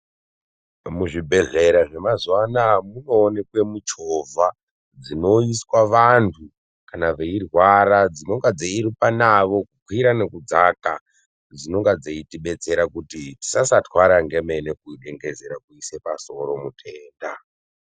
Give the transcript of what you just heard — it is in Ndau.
Muzvibhehlera zvemazuwa anaya munoonekwe muchovha dzinoiswa vantu kana veirwara dzinorumba navo kukwira nekudzaka dzinonga dzeitibetsera kuti tisasatwara ngemene kudengezera kuisa pasoro mutenda.